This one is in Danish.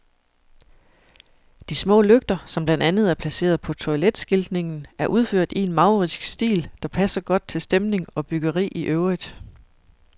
De små lygter, som blandt andet er placeret på toiletskiltningen, er udført i en maurisk stil, der passer godt til stemning og byggeri i øvrigt.